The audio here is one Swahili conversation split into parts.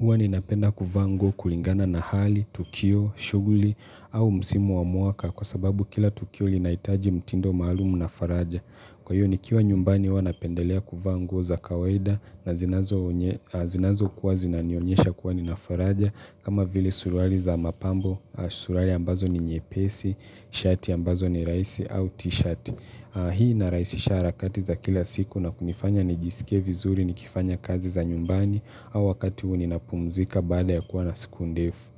Huwa ninapenda kuvaa nguo kulingana na hali, tukio, shughuli au musimu wa mwaka kwa sababu kila tukio linahitaji mtindo maalumu na faraja. Kwa hiyo nikiwa nyumbani huwa napendelea kuvaa nguo za kawaida na zinazokuwa zinanionyesha kuwa nina faraja kama vile suruali za mapambo, suruali ambazo ni nyepesi, shati ambazo ni rahisi au t-shirt. Hii inarahisisha harakati za kila siku na kunifanya nijisikie vizuri nikifanya kazi za nyumbani au wakati huu ninapumzika baada ya kuwa na siku ndefu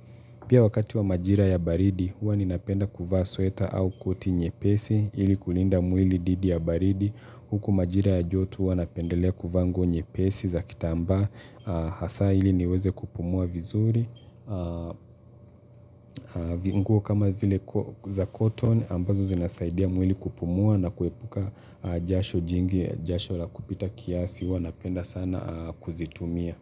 Pia wakati wa majira ya baridi huwa ninapenda kuvaa sweta au koti nyepesi ili kulinda mwili dhidi ya baridi huku majira ya joto huwa napendelea kuvaa nguo nyepesi za kitamba hasaa ili niweze kupumua vizuri VI nguo kama vile za koton, ambazo zinasaidia mwili kupumua na kuepuka jasho jingi jasho la kupita kiasi, huwa napenda sana kuzitumia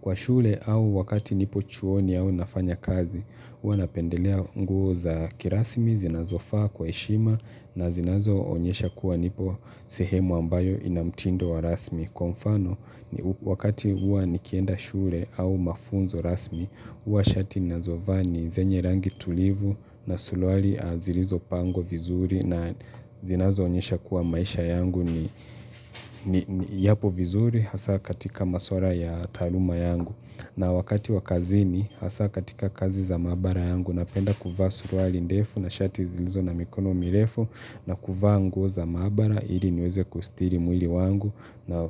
Kwa shule au wakati nipo chuoni au nafanya kazi, huwa napendelea nguo za kirasmi zinazofaa kwa heshima na zinazoonyesha kuwa nipo sehemu ambayo ina mtindo wa rasmi Kwa mfano, wakati huwa nikienda shule au mafunzo rasmi, huwa shati nazovaa ni zenye rangi tulivu na suluwali zilizopangwa vizuri na zinazoonyesha kuwa maisha yangu ni yapo vizuri hasaa katika masuala ya taaluma yangu. Na wakati wa kazini hasaa katika kazi za mabara yangu napenda kuva suruali ndefu na shati zilizo na mikono mirefu na kuvaa nguo za maabara ili niweze kustiri mwili wangu na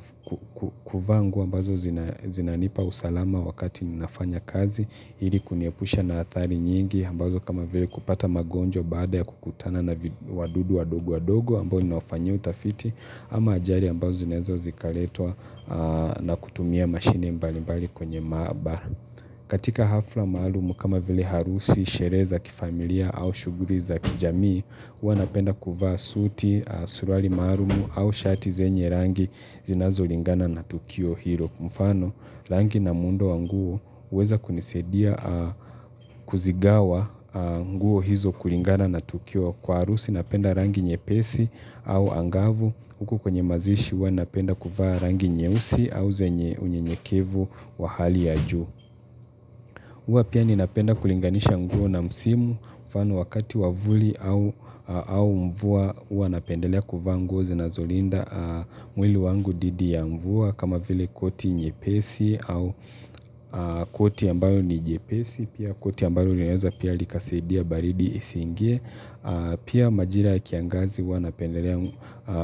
kuvaa nguo ambazo zinanipa usalama wakati ninafanya kazi ili kuniepusha na athari nyingi ambazo kama veli kupata magonjwa baada ya kukutana na wadudu wadogo wadogo ambao ninawafanyia utafiti ama ajali ambazo zinaweza zikaletwa na kutumia mashine mbalimbali kwenye maabara. Katika hafla malumu kama vile harusi, sherehe za kifamilia au shughuli za kijamii, huwa napenda kuvaa suti, surwali maalum au shati zenye rangi zinazolingana na tukio hilo. Mfano, rangi na muundo wa nguo huweza kunisaidia kuzigawa nguo hizo kulingana na tukio kwa harusi napenda rangi nyepesi au angavu huku kwenye mazishi huwa napenda kuvaa rangi nyeusi au zenye unyenyekevu wa hali ya juu huwa pia ninapenda kulinganisha nguo na msimu mfano wakati wa vuli au mvua huwa napendelea kuvaa nguo zinazolinda mwili wangu dhidi ya mvua kama vile koti nyepesi au koti ambayo ni jepesi pia koti ambayo linaweza pia likasaidia baridi lisiingie Pia majira ya kiangazi huwa napendelea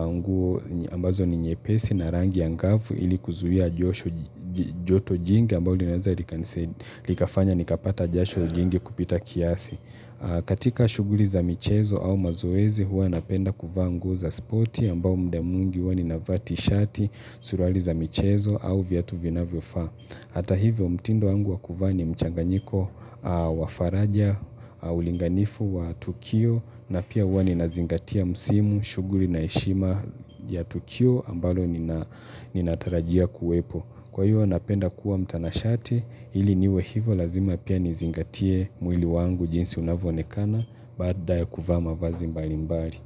nguo ambazo ni nyepesi na rangi angafu ili kuzuia joto jingi ambo linaweza likafanya nikapata jasho jingi kupita kiasi. Katika shughuli za michezo au mazoezi huwa napenda kuvaa nguo za spoti ambao mda mwingi huwa ninavaa tishati suruali za michezo au viatu vinavyofaa Hata hivyo mtindo wangu wa kuvaa ni mchanganyiko wa faraja ulinganifu wa Tukio na pia huwa ninazingatia msimu, shughuli na heshima ya Tukio ambalo ninatarajia kuwepo. Kwa hivyo napenda kuwa mtanashati ili niwe hivyo lazima pia nazingatia mwili wangu jinsi unavyoonekana baada ya kuvaa mavazi mbalimbali.